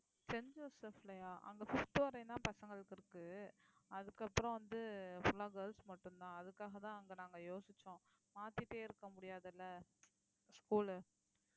Saint ஜோசப்லயா அங்க fifth வரையும் தான் பசங்களுக்கு இருக்கு அதுக்கப்புறம் வந்து full ஆ girls மட்டும்தான் அதுக்காகத்தான் அங்க நாங்க யோசிச்சோம். மாத்திட்டே இருக்க முடியாது இல்லை school உ